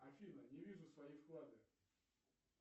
афина не вижу свои вклады